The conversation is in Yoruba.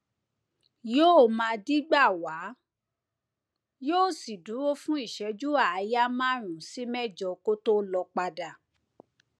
yóò máa dígbà wá yóò sì dúró fún ìṣẹjúàáyá márùnún sí mẹjọ kó tó lọ padà